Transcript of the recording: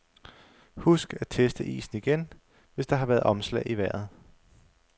Husk at teste isen igen, hvis der har været omslag i vejret.